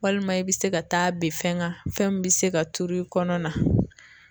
Walima i be se ka taa ben fɛn kan fɛn min bi se ka turu i kɔnɔna na